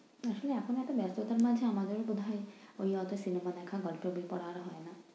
তো সেই এখন এতো ব্যস্ততার মাঝে আমাদের প্রধান ওই অতো cinema দেখা হয় বই পড়া আর হয় না।